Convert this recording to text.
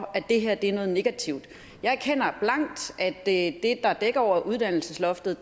at det her er noget negativt jeg erkender blankt at det der dækker over uddannelsesloftet